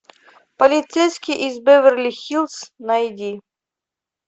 полицейский из беверли хиллз найди